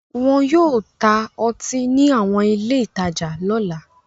Wọn yóò ta ọtí ní àwọn ilé-ìtajà lọ́la.